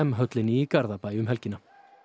höllinni í Garðabæ um helgina